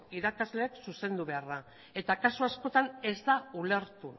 irakasleek zuzendu behar da eta kasu askotan ez da ulertu